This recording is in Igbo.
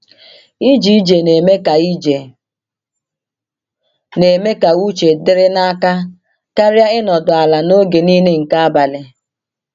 "Ije ije na-eme ka ije na-eme ka uche dịrị n’aka karịa ịnọdụ ala n’oge niile nke abalị."